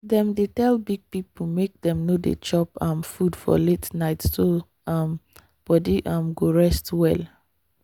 dem dey tell big people make dem no dey chop um food for late night so um body um go rest well.